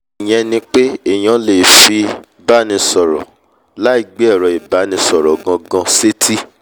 ìyẹn ni pé èèyàn lè fi báni sọ̀rọ̀ láì gbé ẹ̀rọ ìbánisọ̀rọ̀ gan-gan sétí